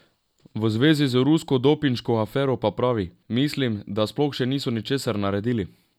V zvezi z rusko dopinško afero pa pravi: "Mislim, da sploh še niso ničesar naredili".